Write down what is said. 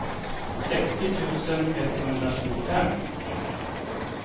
sextio tusen etthundratjugofem